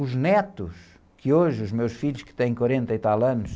Os netos, que hoje, os meus filhos, que têm quarenta e tal anos,